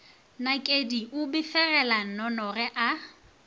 nakedi o befegela nnonoge a